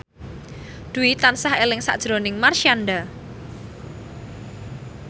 Dwi tansah eling sakjroning Marshanda